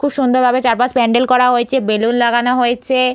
খুব সুন্দরভাবে চারপাশ প্যান্ডেল করা হয়েছে বেলুন লাগানো হয়েছে।